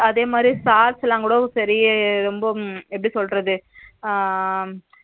அதேமாதிரி sir ல கூட சரி ரொம்ப எப்பிடி சொல்றது